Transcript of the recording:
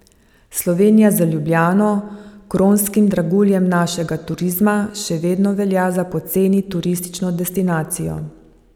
Slovenija z Ljubljano, kronskim draguljem našega turizma, še vedno velja za poceni turistično destinacijo.